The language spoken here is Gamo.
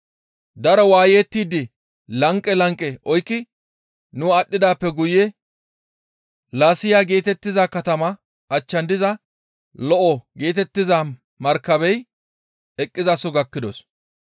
Daro waayettidi lanqe lanqe oykki nu aadhdhidaappe guye Laasiya geetettiza katama achchan diza, «Lo7o» geetettiza markabey eqqizaso gakkidos.